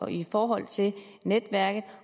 i forhold til netværket